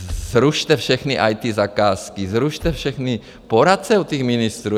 Zrušte všechny IT zakázky, zrušte všechny poradce u těch ministrů.